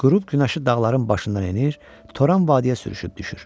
Qürub günəşi dağların başından enir, Toran vadisinə sürüşüb düşür.